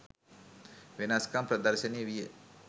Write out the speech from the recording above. වෙනස්කම් ප්‍රදර්ශනය විය.